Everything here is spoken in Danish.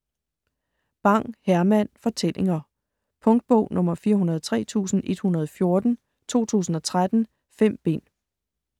Bang, Herman: Fortællinger Punktbog 403114 2013. 5 bind.